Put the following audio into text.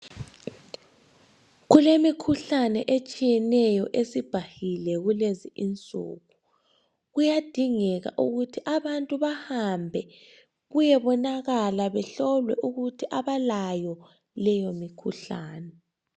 Kulemikhuhlane etshiyeneyo esibhahile kulezi insuku ,kuyadingeka ukuthi abantu bahambe kuyebonakala behlolwe ukuthi abalayo leyo mikhuhlane.